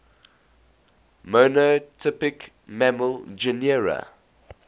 monotypic mammal genera